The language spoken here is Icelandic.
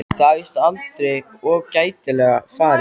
Það er víst aldrei of gætilega farið.